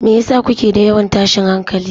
Me yasa kuke da yawan tashin hankali?